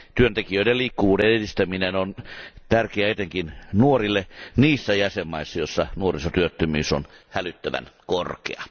Työntekijöiden liikkuvuuden edistäminen on tärkeää etenkin nuorille niissä jäsenvaltioissa, joissa nuorisotyöttömyys on hälyttävän korkea.